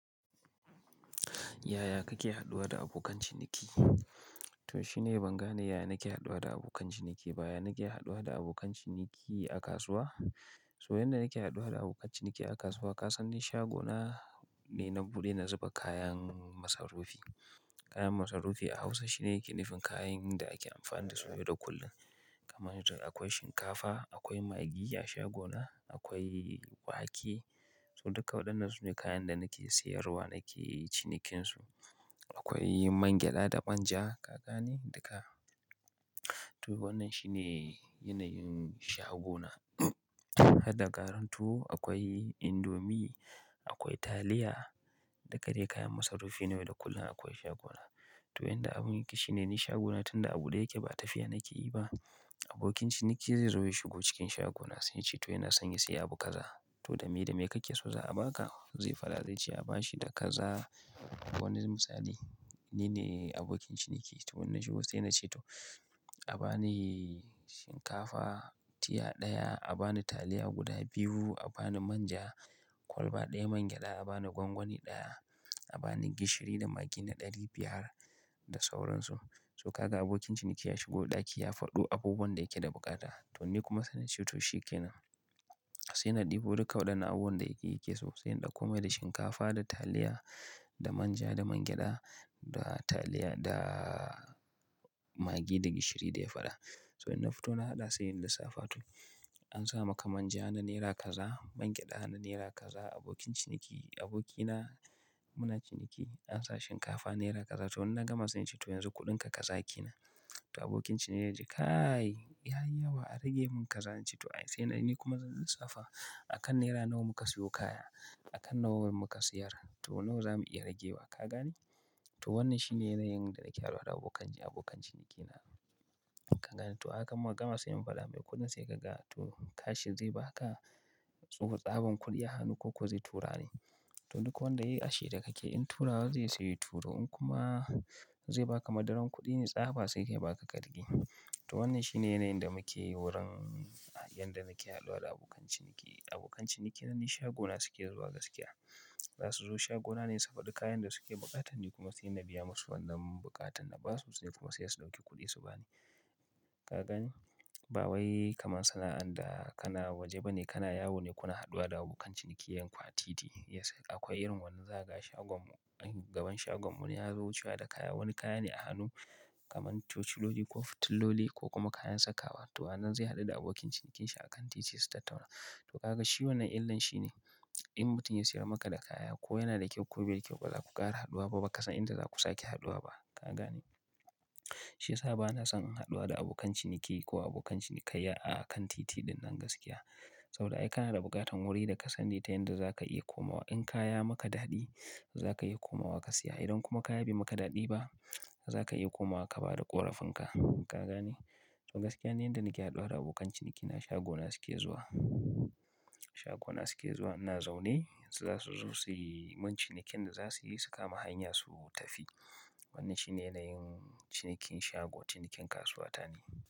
Yaya kake haɗuwa da abokan ciniki? To shine ban gane yaya nake haɗuwa da abokan ciniki ba yaya nake haɗuwa da abokan ciniki a kasuwa? To yanda nake haɗuwa da abokan ciniki a kasuwa, ka san ni shagona ni na buɗe na zuba kayan masarufi. Kayan masarufi a Hausa shine yake nifin kayan da ake amfani da su yau da kullum. Kamar irin akwai shinkafa, akwai maggi a shagona, akwai wake, to dukka waɗannan sune kayan da nake siyarwa nake cinikin su, akwai man-gyaɗa da manja, ka gane? Duka. To wannan shi ne yanayin shagona. Har da garin tuwo, akwai indomi, akwai taliya, duka dai kayan masarufi na yau da kullum akwai shagona. To yanda abun yake shine ni shagona tunda aɓude yake ba tafiya nake yi ba, abokin ciniki zai zo ya shigo cikin shagona, sai yace to yana son ya siya abu kaza. To da me da me kake so za'a ba ka? Zai faɗa zai ce a ba shi da kaza. Wani misali, ni ne abokin ciniki. To in nashigo sai nace toh; abani shinkafa tiya ɗaya, abani taliya guda biyu, abani manja kwalba ɗaya, mangyaɗa abani gwangwani ɗaya, abani gishiri da maggi na ɗari biyar, da sauransu. To kaga abokin ciniki ya shigo ɗaki ya faɗo abubuwan da yake da buƙata. To ni kuma sai na ce to shi ke nan. Sai na ɗibo dukka waɗannan abubuwan da yake so, sai in ɗakko mai da shinkafa, da taliya, da manja, da man gyada, da taliya, da maggi, da gishiri da ya faɗa. To in na fito na haɗa, sai in lissafa to, an sa maka manja na naira kaza, man gyaɗa na naira kaza, abokin ciniki, abokina muna ciniki. An sa shinkafa naira kaza. To in na gama sai in ce to yanzu kuɗinka kaza ke nan. To abokin ciniki ya ce, "Kai! Ya yi yawa, a rage mun kaza." In ce to ayy, sai na--ni kuma zan lissafa, a kan naira nawa muka siyo kaya? A kan nawa muka siyar? To nawa za mu iya rage wa? Ka gane? To wannan shi ne yanayin da nake haɗuwa da abokan ci, abokan cinikina. Ka gane? To a hakan muka gama sai in faɗa mai kuɗin sai ka ga, to kash zai ba ka? Ko tsaban kuɗi a hannu ko ko zai tura ne? To duk wanda yayi ashirya kake, in turawa zai yi saiya turo, in kuma zai ba ka madaran kuɗi ne tsaba sai ya ba ka ka riƙe. To wannan shi ne yanayin da muke wurin yanda nake haɗuwa da abokan ciniki. Abokan ciniki na ni shagona suke zuwa gaskiya. Za su zo shagona ne, su faɗi kayan da suke buƙata, ni kuma sai na biya musu wannan buƙatan na basu ni kuma sai su ɗauki kuɗi su ba ni. Ka gane? Ba wai kamar sana'an da kana waje bane, kana yawo ne kuna haɗuwa da abokan cinikiyyan ku a titi. Yes. Akwai irin wannan zakaga a shagon mu, gaban shagon mu, wani ya zo wucewa da kaya. Wani kaya ne a hannu kamar tociloli ko fitiloli ko kuma kayan sakawa. To a nan zai haɗu da abokin cinikinshi a kan titi su tattauna. To kaga shi wannan illan shi ne, in mutum ya siyar maka da kaya ko yana da kyau ko bai da kyau, ba za ku ƙara haɗuwa ba, ba kasan inda za ku sake haɗuwa ba. Ka gane? Shi ya sa bana son in haɗuwa da abokan ciniki, ko abokan cinikayya a kan titi ɗinnan gaskiya. Saboda ai kana da buƙatan wuri da ka sani ta yanda za ka iya komawa. In kaya ya maka daɗi, za ka iya komawa ka siya. Idan kuma kaya bai maka daɗi ba, za ka iya komawa ka bada ƙorafinka. Ka gane? To gaskiya ni yanda nike haɗuwa da abokan ciniki na shagona suke zuwa, shagona suke zuwa ina zaune. Za su zo suyi mun cinikin da za suyi su ka ma hanya su tafi. Wannan shi ne yanayin cinikin shago, cinikin kasuwa ta ni.